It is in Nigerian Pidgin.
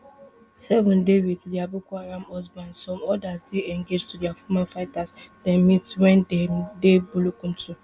seven dey wit dia boko haram husbands some odas dey engaged to former fighters dem meet wen dem dey bulumkutu